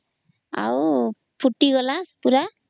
ଆଉ ଫୁଟିଗଲା ପୁରା